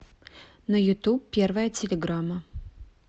на ютуб первая телеграмма